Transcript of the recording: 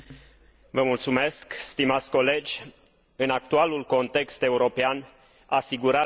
În actualul context european, asigurarea securității energetice devine o prioritate.